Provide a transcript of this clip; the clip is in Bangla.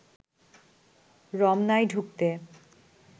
রমনায় ঢুকতে